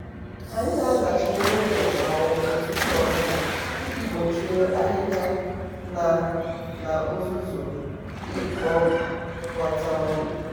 anyị na-azacha ihu ụlọ kwa ụtụtụ ọbụla iji gbochie ahịhịa na na uzuzu ikpokota ọnụ.